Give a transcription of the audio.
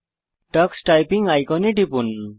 tax typing আইকনে টিপুন